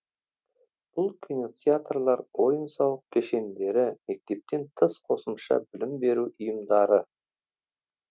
бұл кинотеатрлар ойын сауық кешендері мектептен тыс қосымша білім беру ұйымдары